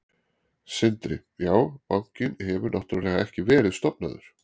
Sindri: Já, bankinn hefur náttúrulega ekki verið stofnaður?